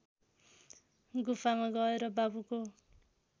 गुफामा गएर बाबुको